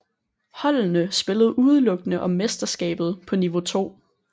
Holdene spillede udelukkende om mesterskabet på niveau 2